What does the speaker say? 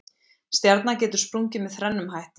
stjarna getur sprungið með þrennum hætti